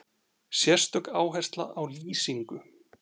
Sérstök áhersla á lýsingu.